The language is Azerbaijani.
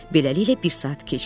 Beləliklə, bir saat keçdi.